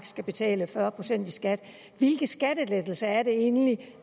skulle betale fyrre procent i skat hvilke skattelettelser er det egentlig